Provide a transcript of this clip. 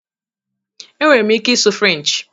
Enwere m ike ịsụ French